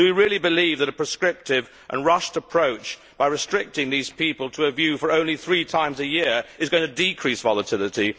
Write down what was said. Do we really believe that a proscriptive and rushed approach by restricting these people to a view for only three times a year is going to decrease volatility?